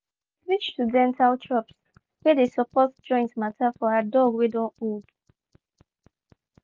she been switch to dental chops wey dey support joint matter for her dog wey don old.